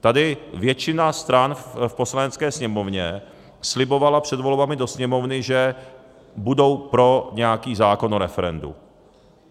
Tady většina stran v Poslanecké sněmovně slibovala před volbami do Sněmovny, že budou pro nějaký zákon o referendu.